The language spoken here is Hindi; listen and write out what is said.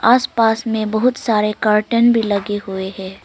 आसपास में बहुत सारे कर्टन भी लगे हुए हैं।